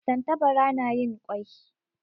Tantabara na yin kwai